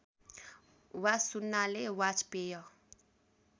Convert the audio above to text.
वा सुन्नाले वाजपेय